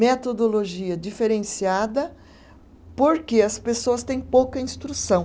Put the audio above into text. Metodologia diferenciada, porque as pessoas têm pouca instrução.